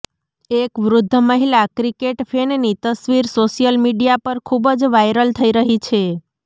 એક વૃદ્ધ મહિલા ક્રિકેટ ફેનની તસ્વીર સોશિયલ મીડિયા પર ખૂબ જ વાયરલ થઇ રહી છે